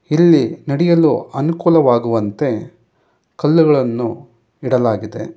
ಇಲ್ಲಿ ನಡೆಯಲು ಅನುಕೂಲವಾಗುವಂತೆ ಕಲ್ಲುಗಳನ್ನು ಇಡಲಾಗಿದೆ.